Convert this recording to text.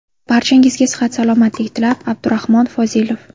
Barchangizga sihat-salomatlik tilab, Abdurahmon Fozilov .